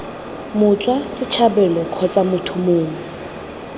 motswa setlhabelo kgotsa motho mongwe